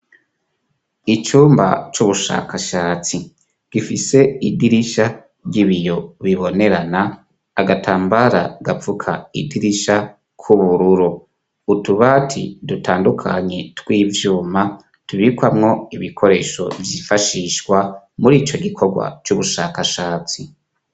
Icumba c'ubushakashatsi, gifise idirisha ry'ibiyo bibonerana, agatambara gapfuka idirisha k'ubururu ,utubaati dutandukanye tw'ivyuma, tubikwamwo ibikoresho vyifashishwa murico gikorwa c'ubushakashatsi.